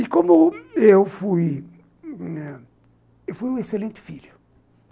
E como eu fui... eu fui um excelente filho.